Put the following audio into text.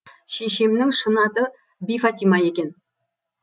шешемнің шын аты бифатима екен